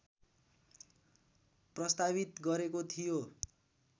प्रस्तावित गरेको थियो